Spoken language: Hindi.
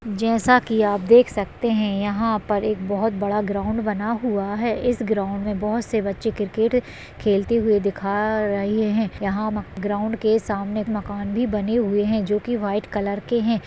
जैसा के आप देख सकते हैं यहाँ पर एक बहोत बड़ा ग्राउंड बना हुआ है इस ग्राउंड में बहोत से बच्चे क्रिकेट खेलते हुए दिखा रहे हैं यहाँ म-ग्राउंड के सामने मकान भी बने हुए हैं जो की वाइट कलर के हैं।